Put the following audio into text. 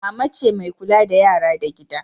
Mama ce ke kulla da yara da gida.